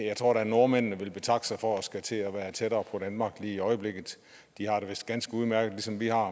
jeg tror da at nordmændene vil betakke sig for at skulle til at være tættere på danmark i øjeblikket de har det vist ganske udmærket ligesom vi har